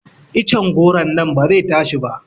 Iccen goro nan ba zai tashi ba